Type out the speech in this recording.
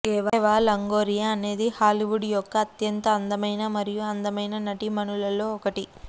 ఎవా Longoria అనేది Hollywood యొక్క అత్యంత అందమైన మరియు అందమైన నటీమణులలో ఒకటి